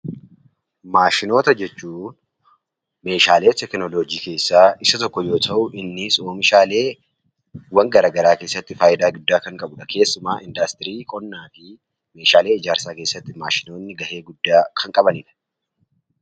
Maashinoota jechuun meeshaalee teekinooloojii keessaa Isa tokko yoo ta'u, innis oomishaalee garaagaraa keessatti fayidaa guddaa kan qabudha. Keessumaa industirii qonnaan fi meeshaalee ijaarsaa keessatti maashinoonni gahee guddaa kan qabanidha.